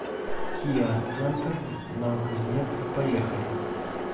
киа центр новокузнецк поехали